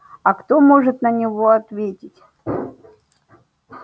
а кто может на него ответить